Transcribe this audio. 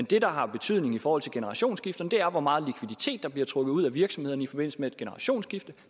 det der har betydning i forhold til generationsskifte er hvor meget likviditet der bliver trukket ud af virksomhederne i forbindelse med et generationsskifte